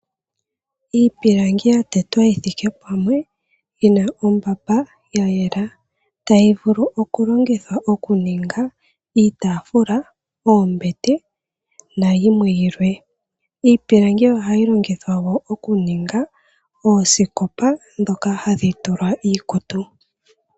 Iipilangi ya tetwa yi thike pamwe yi na ombamba ya yela tayi vulu okulongithwa okuninga iitafula, oombete na yimwe yilwe. Iipilangi oha yi longithwa wo okuninga oosikopa ndhoka hadhi tulwa iikutu.